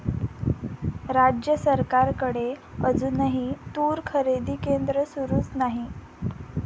राज्य सरकारकडे अजूनही तूर खरेदी केंद्र सुरूच नाही!